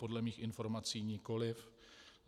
Podle mých informací nikoli.